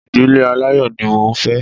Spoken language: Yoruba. Ìdílé aláyọ̀ ní mo ń fẹ́